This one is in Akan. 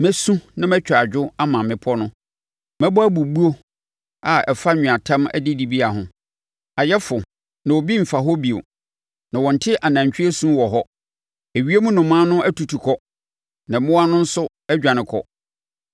Mɛsu na mɛtwa adwo ama mmepɔ no, mɛbɔ abubuo a ɛfa anweatam adidibea ho. Ayɛ fo na obi mfa hɔ bio, na wɔnte anantwie su wɔ hɔ. Ewiem nnomaa no atutu kɔ na mmoa no nso adwane kɔ.